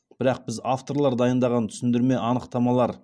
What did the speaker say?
бірақ біз авторлар дайындаған түсіндірме анықтамалар